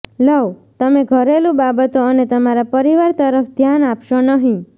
લવઃ તમે ઘરેલુ બાબતો અને તમારા પરિવાર તરફ ધ્યાન આપશો નહીં